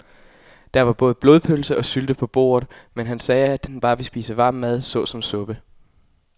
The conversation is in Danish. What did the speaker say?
Der var både blodpølse og sylte på bordet, men han sagde, at han bare ville spise varm mad såsom suppe.